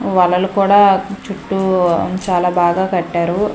వలలు కూడా చుట్టూ ఉం చాలా బాగా కట్టారు.